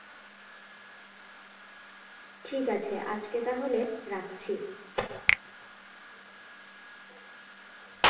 ঠিক আছে আজকে তাহলে রাখছি